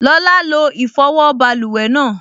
Lọla lo ìfọwọ́ báluwẹ̀ náà